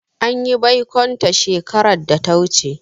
An yi baikonta shekarar da ta wuce.